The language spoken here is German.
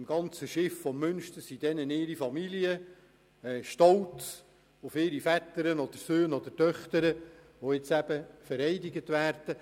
Im ganzen Schiff des Münsters sind deren Familien anwesend, stolz auf ihre Väter, Söhne oder Töchter, welche vereidigt werden.